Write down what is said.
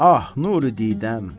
Ah, nuri didəm.